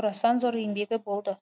орасан зор еңбегі болды